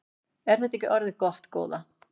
Er þetta ekki orðið gott góða?